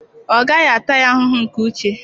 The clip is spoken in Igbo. Ọ gaghị ata ya ahụhụ nke uche.